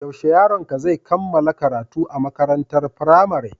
Yaushe yaronka zai kammala karatu a makarantar firamare?